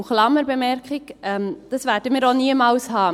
Und Klammerbemerkung: Diesen werden wir auch niemals haben.